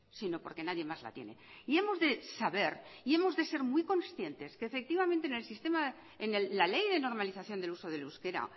sino porque nadie más la tiene y hemos de saber y hemos de ser muy conscientes que en el sistema en la ley de normalización del uso del euskera